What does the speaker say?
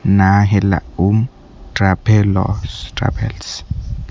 ନାଆ ହେଲା ଉନ୍ ଟ୍ରାଭେଲର୍ସ ଟ୍ରାଭେଲସ୍ ।